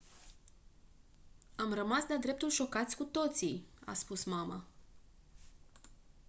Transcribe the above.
am rămas de-a dreptul șocați cu toții a spus mama